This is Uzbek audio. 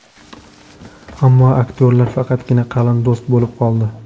Ammo aktyorlar faqatgina qalin do‘st bo‘lib qoldi.